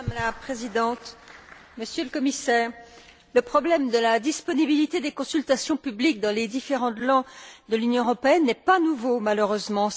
Madame la Présidente, Monsieur le Commissaire, le problème de la disponibilité des consultations publiques dans les différentes langues de l'Union européenne n'est pas nouveau malheureusement.